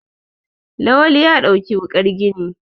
Lawan ya ɗauki wukar gini